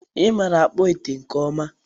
ịmara akpụ ite nke ọma